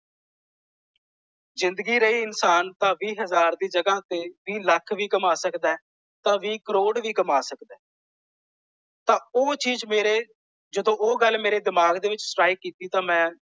ਜਿੰਦਗੀ ਰਹੀ ਇਨਸਾਨ ਤਾਂ ਵੀਹ ਹਜ਼ਾਰ ਦੀ ਜਗ੍ਹਾ ਤੇ ਵੀਹ ਲੱਖ ਵੀ ਕਮਾ ਸਕਦਾ ਹੈ ਤਾਂ ਵੀਹ ਕਰੋੜ ਵੀ ਕਮਾ ਸਕਦਾ ਹੈ। ਤਾਂ ਉਹ ਚੀਜ਼ ਮੇਰੇ ਜਦੋਂ ਉਹ ਗੱਲ ਮੇਰੇ ਦਿਮਾਗ ਦੇ ਵਿਚ ਸਟ੍ਰਾਇਕ ਕੀਤੀ ਤਾਂ ਮੈਂ।